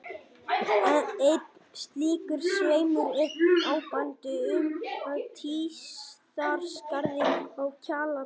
Einn slíkur sveimur er áberandi upp af Tíðaskarði á Kjalarnesi.